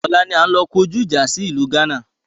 Ọ̀la ni a ń lọ kọjú ìjà sí ìlú gánà